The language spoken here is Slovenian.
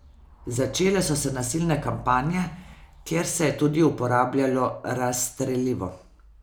Začele so se nasilne kampanje, kjer se je tudi uporabljalo razstrelivo.